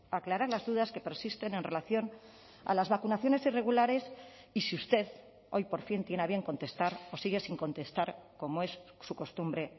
aclarar las dudas que persisten en relación a las vacunaciones irregulares y si usted hoy por fin tiene a bien contestar o sigue sin contestar como es su costumbre